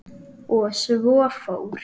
Og svo fór.